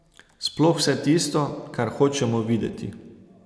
Sploh vse tisto, kar hočemo videti.